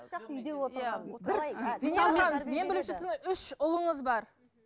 мен білуімше сіздің үш ұлыңыз бар